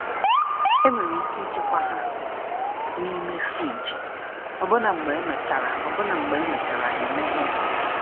Enwere ike ịchekwa ha n’ime friji, ọbụna mgbe emechara ọbụna mgbe emechara ha emeghe.